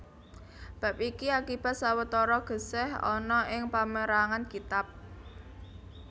Bab iki akibat sawetara gèsèh ana ing pamérangan kitab